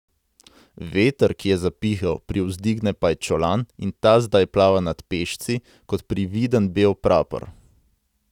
Veter, ki je zapihal, privzdigne pajčolan in ta zdaj plava nad pešci kot prividen bel prapor.